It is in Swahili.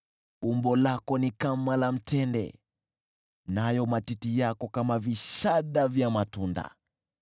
Umbo lako ni kama la mtende, nayo matiti yako kama vishada vya matunda.